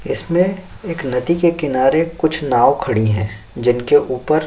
इसमें एक नदी के किनारे कुछ नाव खड़ी हैं जिनके ऊपर --